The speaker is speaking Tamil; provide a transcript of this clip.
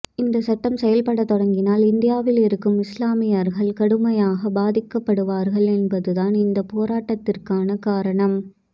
இந்த சட்டம் செயல்பட தொடங்கினால் இந்தியாவில் இருக்கும் இஸ்லாமியர்கள் கடுமையாக பாதிக்கப்படுவார்கள் என்பதுதான் இந்த போராட்டத்திற்கான காரணம்